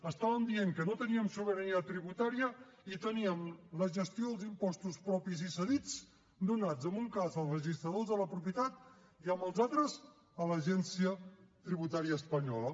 estàvem dient que no teníem sobirania tributària i teníem la gestió dels impostos propis i cedits donats en un cas als registradors de la propietat i els altres a l’agència tributària espanyola